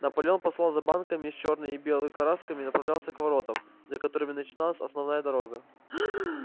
наполеон послал за банками с чёрной и белой красками и направился к воротам за которыми начиналась основная дорога